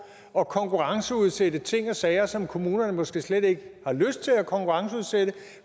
at konkurrenceudsætte ting og sager som kommunerne måske slet ikke har lyst til at konkurrenceudsætte